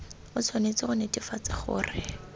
o tshwanetse go netefatsa gore